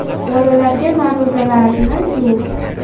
Bolalarga ma’ruzalarni Yu.